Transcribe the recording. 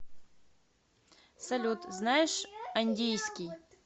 салют знаешь андийский